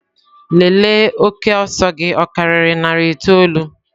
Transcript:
Lelee oke ọsọ gị ọ karịrị narị itoolu!.